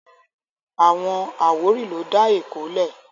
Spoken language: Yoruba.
Àwọn àwórì ló dá Èkó lẹ̀